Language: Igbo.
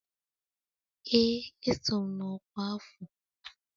Ee, eso m na ọkwa afọ